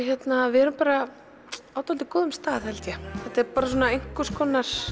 við erum bara á dálítið góðum stað held ég þetta er einhvers konar